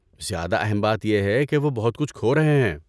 زیادہ اہم بات یہ ہے کہ وہ بہت کچھ کھو رہے ہیں۔